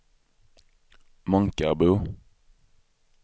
Månkarbo